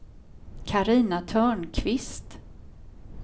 Carina Törnqvist